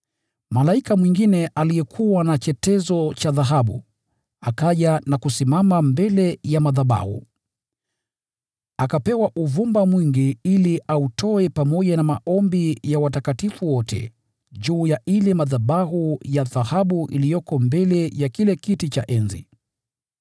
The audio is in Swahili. Malaika mwingine aliyekuwa na chetezo cha dhahabu, akaja na kusimama mbele ya madhabahu. Akapewa uvumba mwingi ili autoe pamoja na maombi ya watakatifu wote, juu ya yale madhabahu ya dhahabu yaliyo mbele ya kile kiti cha enzi.